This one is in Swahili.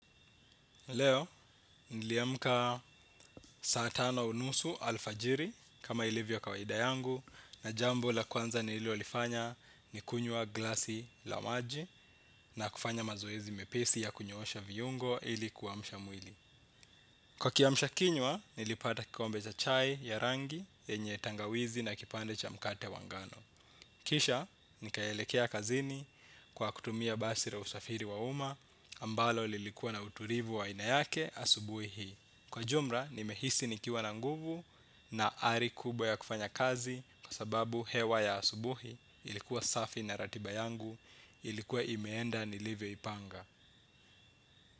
Leo, niliamka saa tano unusu alfajiri kama ilivyo kawaida yangu na jambo la kwanza nililolifanya ni kunywa glasi la maji na kufanya mazoezi mepesi ya kunyoosha viungo ili kuamsha mwili. Kwa kiamsha kinywa, nilipata kikombe cha chai ya rangi yenye tangawizi na kipande cha mkate wa ngano. Kisha, nikaelekea kazini kwa kutumia basi la usafiri wa uma, ambalo lilikuwa na utulivu wa ainayake asubuhi. Kwa jumla, nimehisi nikiwa na nguvu na ari kubwa ya kufanya kazi kwa sababu hewa ya asubuhi ilikuwa safi na ratiba yangu ilikuwa imeenda nilivyo ipanga.